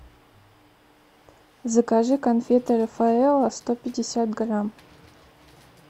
закажи конфеты рафаэлло сто пятьдесят грамм